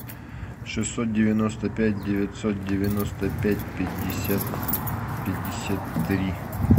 шестьсот девяносто пять девятьсот девяносто пять пятьдесят пятьдесят три